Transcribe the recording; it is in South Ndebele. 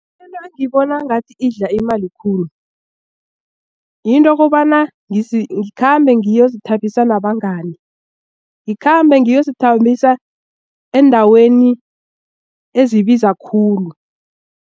Mina ngibona ngathi idla imali khulu yinto kobana ngikhambe ngiyozithabisa nabangani ngikhambe ngiyozithabisa endaweni ezibiza khulu.